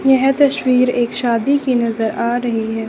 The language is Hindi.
यह तस्वीर एक शादी की नजर आ रही है।